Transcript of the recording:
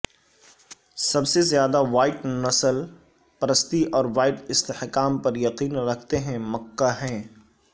سب سے زیادہ وائٹ نسل پرستی اور وائٹ استحکام پر یقین رکھتے ہیں مکہ ہیں